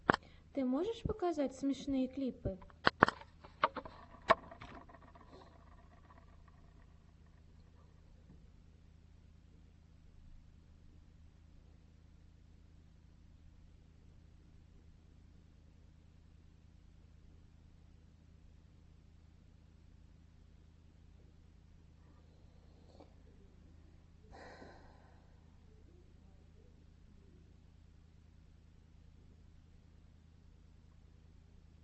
ты можешь показать смешные клипы